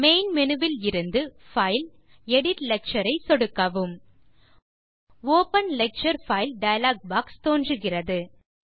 main menu விலிருந்து file தேர்ந்து edit lecture ஐ சொடுக்கவும் open lecture file dialog box தோன்றுகிறது